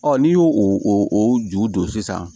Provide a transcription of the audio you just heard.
n'i y'o o ju don sisan